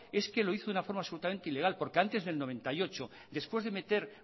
es que lo hizo en una forma absolutamente ilegal porque antes del noventa y ocho después de meter